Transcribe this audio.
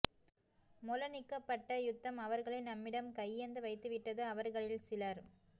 மொளனிக்கப்பட்ட யுத்தம் அவர்களை நம்மிடம் கையேந்த வைத்து விட்டது அவர்களில் சிலர்